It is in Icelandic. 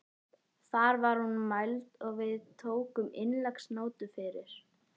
Þar var hún mæld og við tókum innleggsnótu fyrir.